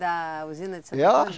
Da usina de Santo Antônio?